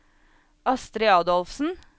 Astri Adolfsen